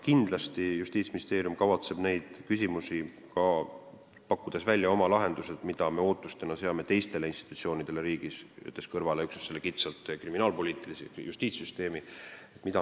Kindlasti kavatseb Justiitsministeerium pakkuda välja oma lahendused, mida me ootame teistelt institutsioonidelt, mida me peame vajalikuks, jättes kõrvale kitsalt kriminaalpoliitilise süsteemi, justiitssüsteemi.